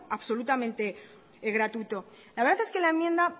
absolutamente gratuito la verdad es que la enmienda